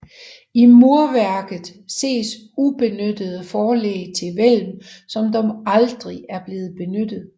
I murværket ses ubenyttede forlæg til hvælv som dog aldrig er blevet benyttet